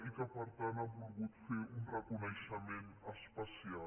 i que per tant ha volgut fer un reconeixement especial